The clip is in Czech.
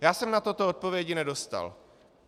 Já jsem na toto odpovědi nedostal.